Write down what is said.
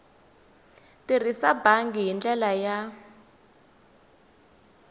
tirhisa bangi hi ndlela ya